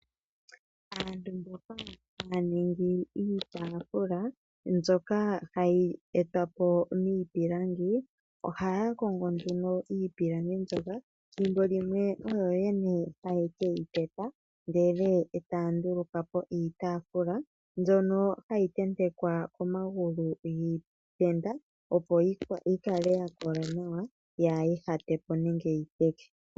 Aantu mboka haya ningi iitaafula mbyoka hayi etwapo niipilangi, ohaya kongo nduno iipilangi mbyoka. Thimbo limwe oyo yene haye keyi teta, ndele etaya ndulukapo iitaafula mbyono hayi tentekwa komagulu giitenda, opo yikale ya kola nawa kaa yi ihatepo nenge yi teke.